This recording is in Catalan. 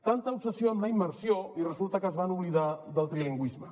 tanta obsessió amb la immersió i resulta que es van oblidar del trilingüis me